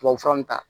Tubabufura nu ta